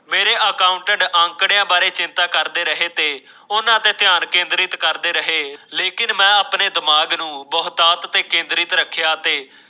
ਮੇਰੀ ਪਾਊ ਤੇ ਅੰਕੜਿਆਂ ਬਾਰੇ ਚਿੰਤਾ ਕਰਦੇ ਰਹੇ ਤੇ ਹੂਰਾਂ ਤੇ ਧਿਆਨ ਕੇਂਦਰਿਤ ਕਰਦੇ ਰਹੇ ਲੈ ਕੇ ਮੈਂ ਆਪਣੇ ਦਿਮਾਗ ਨੂੰ ਬਹੁਤ ਆਪ ਤੇ ਕੇਂਦਰੀ ਰੱਖਿਆ ਤੇ